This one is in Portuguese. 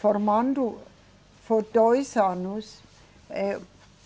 formando foi dois anos. Eh